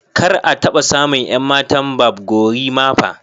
kar a taɓa samun 'yan matan Barb gorimapa